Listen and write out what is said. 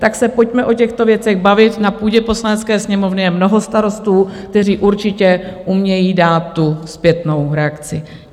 Tak se pojďme o těchto věcech bavit na půdě Poslanecké sněmovny, je mnoho starostů, kteří určitě umějí dát tu zpětnou reakci.